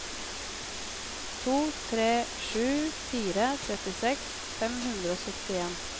to tre sju fire trettiseks fem hundre og syttien